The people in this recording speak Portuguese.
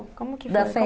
E como que foi?